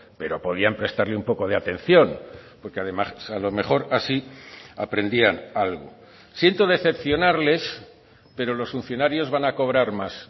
pero podían prestarle un poco de atención porque además a lo mejor así aprendían algo siento decepcionarles pero los funcionarios van a cobrar más